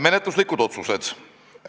Menetluslikud otsused.